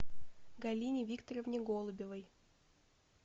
галине викторовне голубевой